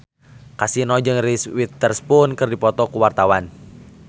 Kasino jeung Reese Witherspoon keur dipoto ku wartawan